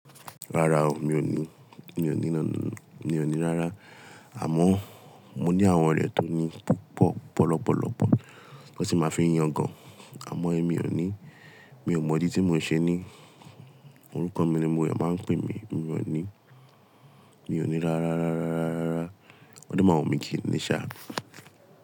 Rárá o, mi ò ní, mi ò ní nọ̀, mi ò ní rárá. Àmọ́ mo ní àwọn ọ̀rẹ́ tó ní púpọ̀, ọ̀pọ̀lọpọ̀lọpọ̀ won si máa fi ń yangàn. Àmọ́ ẹ mi ò ní, mi ò mọ̀ dí tí mò ń ṣe ní. Orúkọ mi ni gbogbo eeyan máa ń pè mí, mi ò ní, mi ò ní rárá, rárá, rárá, rárá. O de máa ń wu mí kíni ní ṣá.